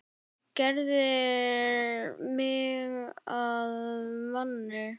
Gerðir mig að manni.